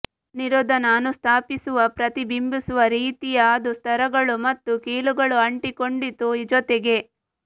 ನಿರೋಧನ ಅನುಸ್ಥಾಪಿಸುವ ಪ್ರತಿಬಿಂಬಿಸುವ ರೀತಿಯ ಅದು ಸ್ತರಗಳು ಮತ್ತು ಕೀಲುಗಳು ಅಂಟಿಕೊಂಡಿತು ಜೊತೆಗೆ